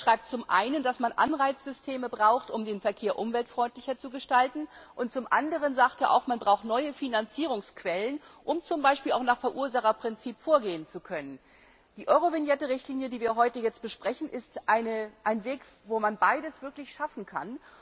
Er beschreibt zum einen, dass man Anreizsysteme braucht, um den Verkehr umweltfreundlicher zu gestalten, und zum anderen sagt er auch, dass man neue Finanzierungsquellen braucht, um zum Beispiel auch nach dem Verursacherprinzip vorgehen zu können. Die Eurovignette Richtlinie, die wir heute besprechen, ist ein Weg, bei dem man beides wirklich schaffen kann.